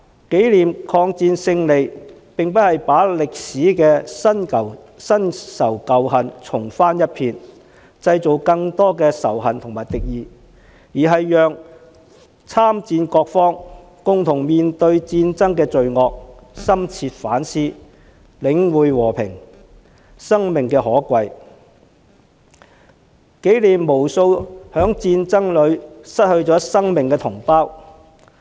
紀念抗戰勝利，並非要把歷史的新仇舊恨重翻一遍，製造更多仇恨和敵意，而是讓參戰各方共同面對戰爭的罪惡，深切反思，領悟和平、生命的可貴，紀念無數在戰爭中失去生命的同胞。